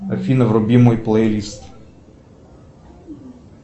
афина вруби мой плейлист